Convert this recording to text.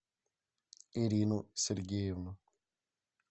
ирину сергеевну